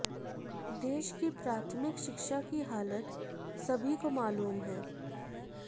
देश की प्राथमिक शिक्षा की हालत सभी को मालूम है